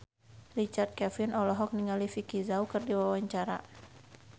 Richard Kevin olohok ningali Vicki Zao keur diwawancara